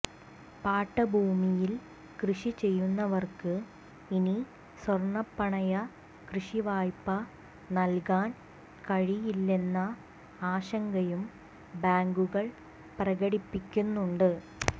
പാട്ടഭൂമിയിൽ കൃഷി ചെയ്യുന്നവർക്ക് ഇനി സ്വർണപ്പണയ കൃഷിവായ്പ നൽകാൻ കഴിയില്ലെന്ന ആശങ്കയും ബാങ്കുകൾ പ്രകടിപ്പിക്കുന്നുണ്ട്